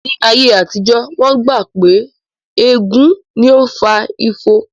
Ní ayé àtijó, wón gbà gbọ́ pé ègún ni ó fa ifo